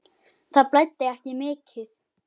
Það blæddi ekki mikið.